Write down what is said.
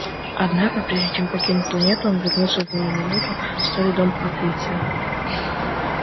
однако прежде чем покинуть планету он вернулся на минуту в старый дом патриция